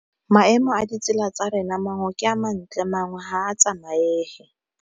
Maemo a ditsela tsa rena mangwe ke a mantle mangwe ga a tsamaege.